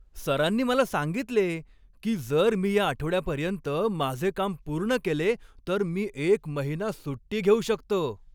सरांनी मला सांगितले की जर मी या आठवड्यापर्यंत माझे काम पूर्ण केले तर मी एक महिना सुट्टी घेऊ शकतो!